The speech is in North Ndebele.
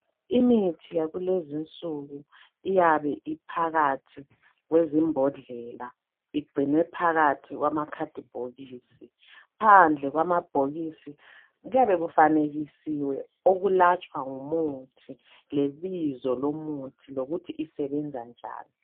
Imithi yakulezinsuku iyabe iphakathi kwezimbodlela, igcinwe phakathi kwamakhadibhokisi. Phandle kwamabhokisi kuyabe kufanekisiwe okulatshwa ngumuthi lebizo lomuthi lokuthi isebenza njani.